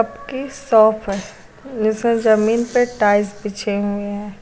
Cake shop है जिसमे जमीन पे टाइल्स बिछे हुए हैं।